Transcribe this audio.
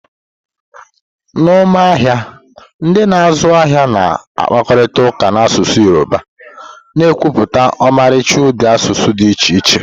N'ọma ahịa, ndị na-azụ ahịa na-akparịta ụka n'asụsụ Yoruba, na-ekepụta ọmarịcha ụdị asụsụ dị iche iche.